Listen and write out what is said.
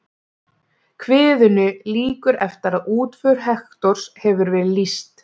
Kviðunni lýkur eftir að útför Hektors hefur verið lýst.